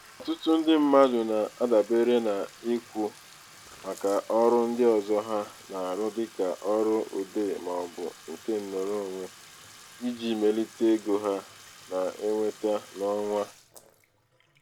ọtụtụ ndị mmadụ na-adabere n'ikwu maka ọrụ ndị ọzọ ha na-arụ dịka ọrụ odee maọbụ nke nrụrụonwe iji melite ego ha na-enweta n'ọnwa.